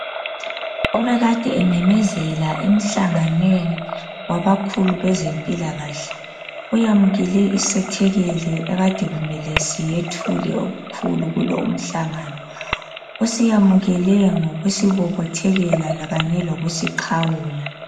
Obekade ememezela emhlanganweni wabakhulu bezempilakahle, uyamukele isethekeli ekade kumele siyethule okukhulu kulo umhlangano. Usiyamukele ngokusibobothekela kanye lokusiqhawula.